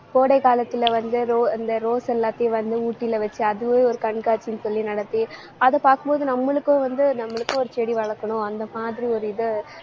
கோடை காலத்துல வந்து ro~ இந்த rose எல்லாத்தையும் வந்து ஊட்டியில வச்சு அதுவே ஒரு கண்காட்சின்னு சொல்லி நடத்தி அதை பார்க்கும் போது நம்மளுக்கும் வந்து நம்மளுக்கும் ஒரு செடி வளர்க்கணும் அந்த மாதிரி ஒரு இதை